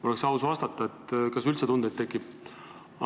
Oleks aus vastata, kas teil üldse mingeid tundeid tekib.